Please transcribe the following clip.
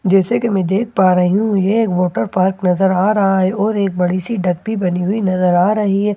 जैसे के मैं देख पा रही हूं यह एक वॉटर पार्क नजर आ रहा है और एक बड़ी सी ठप्पी बनी हुई नजर आ रही है और बहुत --